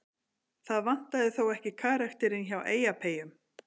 Það vantaði þó ekki karakterinn hjá Eyjapeyjum.